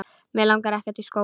Mig langar ekkert í skóla.